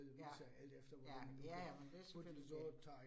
Ja, ja, ja ja, men det selvfølgelig det